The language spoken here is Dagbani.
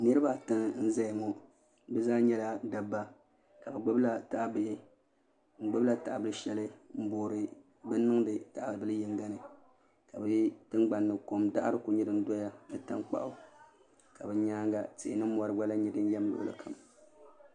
Niraba ata n ʒɛya ŋo bi zaa nyɛla dabba ka bi gbubila tahabihi ka bi gbubila tahabili shɛli n boori bin niŋdi tahabili yinga ni ka di tingbani ni ko daɣari ku nyɛ din doya ka bi nyaanga tihi ni mori gba lahi nyɛ din yɛm luɣuli kam